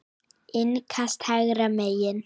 Innkast hægra megin.